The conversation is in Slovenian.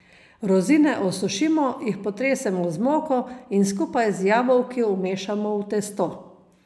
Rozine osušimo, jih potresemo z moko in skupaj z jabolki vmešamo v testo.